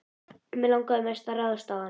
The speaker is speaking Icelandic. Mig langaði mest til að ráðast á hann.